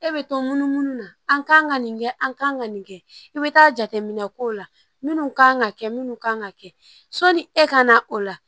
E bɛ to munumunu na an kan ka nin kɛ an kan ka nin kɛ i bɛ taa jateminɛ k'o la minnu kan ka kɛ minnu kan ka kɛ sɔni e ka na o la